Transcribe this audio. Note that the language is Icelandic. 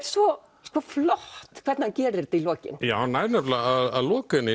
svo flott hvernig hann gerir þetta í lokin hann nær nefnilega að loka henni